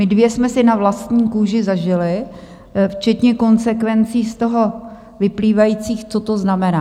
My dvě jsme si na vlastní kůži zažily včetně konsekvencí z toho vyplývajících, co to znamená.